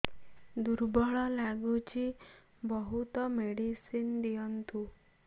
ଦୁର୍ବଳ ଲାଗୁଚି ବହୁତ ମେଡିସିନ ଦିଅନ୍ତୁ